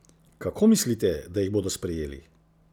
Kako mislite, da jih bodo sprejeli?